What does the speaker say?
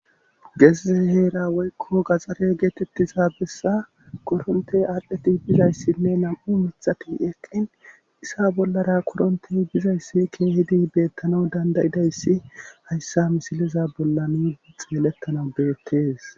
Geesiz heera woykko gaxxare geetettiza bessa korontey aadhdheti bizayssinne nam7u mitxati eqqin issa bollara korontey bizayssi keehidi beettana dandayidayssi hayssa misiliza bollani xeelettana beettees